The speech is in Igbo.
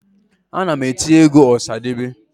Ana m eti egwu ọsadebe